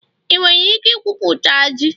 ị nwere ike ikwupụta ji?